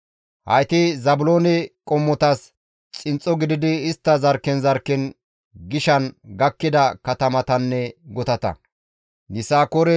Hayti Zaabiloone qommotas xinxxo gididi istta zarkken zarkken gishan gakkida katamatanne gutata.